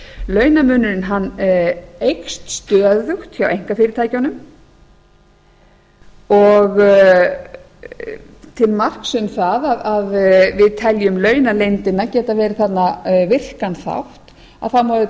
var gerð launamunurinn eykst stöðugt hjá einkafyrirtækjunum og til marks um það að við teljum launaleyndina geti verið þarna virkan þátt þá má auðvitað geta þess